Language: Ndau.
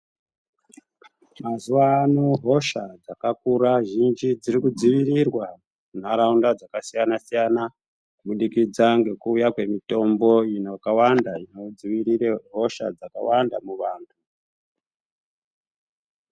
Mazuva ano hosha dzakakura zhinji kudzivirirwa muntaraunda dzakasiyana-siyana. Kubudikidza ngekuuya kwemitombo ino yakawanda inodzirire hosha dzakawanda muvantu.